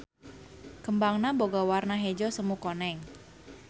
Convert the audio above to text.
Kembangna boga warna hejo semu koneng.